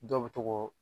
Dɔw bɛ to k'o